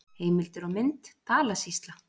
Heimildir og mynd: Dalasýsla.